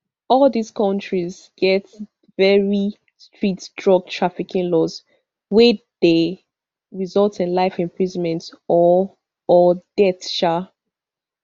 all dis kontis get very strict drug trafficking laws wey dey result in life imprisonment or or death um